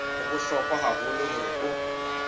ho bohlokwa haholo hore o